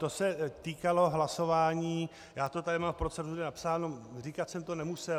To se týkalo hlasování, já to tady mám v proceduře napsáno, říkat jsem to nemusel.